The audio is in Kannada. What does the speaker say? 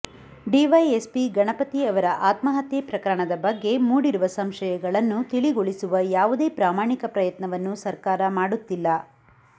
ಡಿವೈಎಸ್ಪಿ ಗಣಪತಿ ಅವರ ಆತ್ಮಹತ್ಯೆ ಪ್ರಕರಣದ ಬಗ್ಗೆ ಮೂಡಿರುವ ಸಂಶಯಗಳನ್ನು ತಿಳಿಗೊಳಿಸುವ ಯಾವುದೇ ಪ್ರಾಮಾಣಿಕ ಪ್ರಯತ್ನವನ್ನು ಸರ್ಕಾರ ಮಾಡುತ್ತಿಲ್ಲ